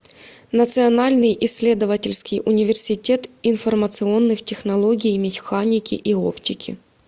национальный исследовательский университет информационных технологий механики и оптики